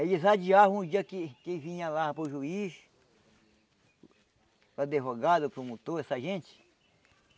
Aí eles adiaram um dia que que vinha lá para o juiz, o advogado, o promotor, essa gente.